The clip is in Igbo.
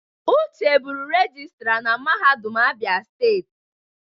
Uche bụrụ regịstra na mahadum Abia steeti.